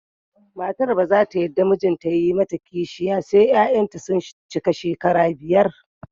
Matar ba za ta yarda mijinta ya yi mata kishiya sai 'ya'yanta sun cika shekara biyar